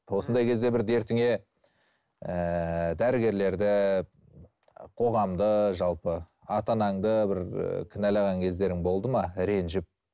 осындай кезде бір дертіңе ііі дәрігерлерді қоғамды жалпы ата анаңды бір і кінәлаған кездерің болды ма ренжіп